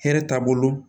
Hɛrɛ t'a bolo